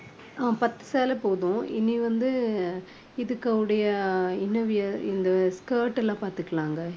அஹ் பத்து சேலை போதும். இனி வந்து இதுக்கு உடைய inner wear இந்த skirt எல்லாம் பார்த்துக்கலாங்க.